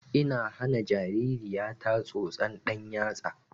Ina hana jaririya ta tsotson ɗan yatsa